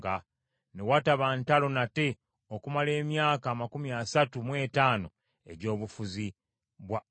Ne wataba ntalo nate okumala emyaka amakumi asatu mu etaano egy’obufuzi bwa Asa.